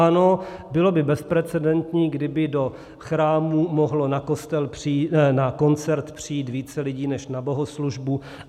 Ano, bylo by bezprecedentní, kdyby do chrámu mohlo na koncert přijít více lidí než na bohoslužbu.